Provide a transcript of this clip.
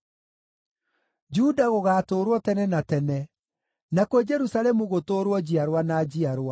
Juda gũgaatũũrwo tene na tene, nakuo Jerusalemu gũtũũrwo njiarwa na njiarwa.